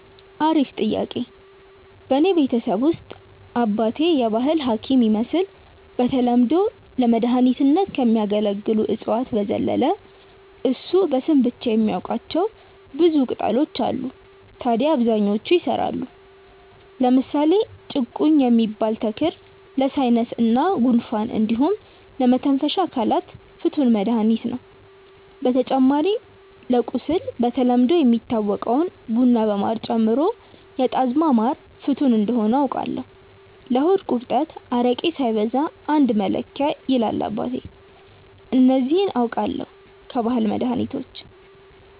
አሪፍ ጥያቄ፣ በእኔ ቤተሰብ ውስጥ አባቴ የባህል ሀኪም ይመስል በተለምዶ ለመድኃኒትነት ከሚያገለግሉ እፅዋት በዘለለ እሱ በስም የሚያቃቸው ብዙ ቅጣሎች አሉ ታድያ አብዛኞቹ ይሰራሉ። ለምሳሌ ጭቁኝ የሚባል ተክል ለሳይነስ እና ጉንፋን እንዲሁም ለመተንፈሻ አካላት ፍቱን መድሀኒት ነው። በተጨማሪ ለቁስል በተለምዶ የሚታወቀውን ቡና በማር ጨምሮ የጣዝማ ማር ፍቱን እንደሆነ አውቃለው። ለሆድ ቁርጠት አረቄ ሳይበዛ አንድ መለኪያ ይላል አባቴ። እነዚህ አውቃለው ከባህላዊ መድሀኒቶች።